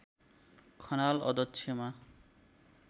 खनाल अध्यक्षमा